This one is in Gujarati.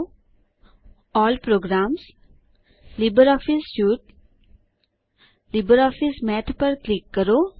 અલ્લ પ્રોગ્રામ્સ જીટીજીટી લિબ્રિઓફિસ સ્યુટ જીટીજીટી લિબ્રિઓફિસ માથ પર ક્લિક કરો